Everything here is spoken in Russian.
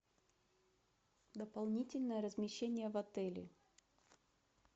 дополнительное размещение в отеле